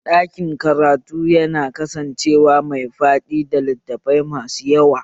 Ɗakin karatu yana kasancewa mai faɗi da littafai masu yawa